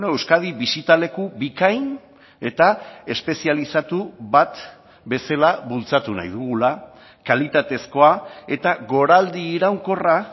euskadi bisita leku bikain eta espezializatu bat bezala bultzatu nahi dugula kalitatezkoa eta goraldi iraunkorra